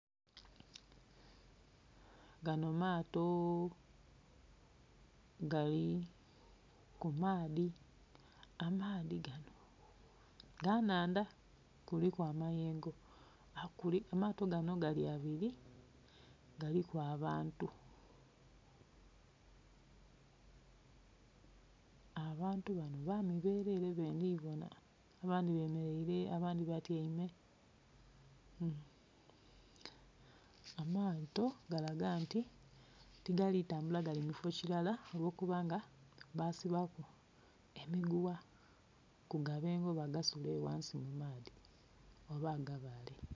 Gano maato gali kumaadhi, amaadhi gano ga nandha kuliku amayengo. Amato gano gali abiri kuliku abantu, abantu bano bami berere bendhibona abandhi batyeime abandhi bemereire. Amato galaga nti tigali tambula gali mu kifoo kilala olwokuba nga basibaku emigugha ku gabengo basula eyo ghansi mu maadhi oba agabale.